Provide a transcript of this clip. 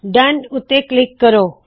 down ਉੱਤੇ click ਕਰੋ